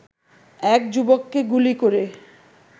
এক যুবককে গুলি করে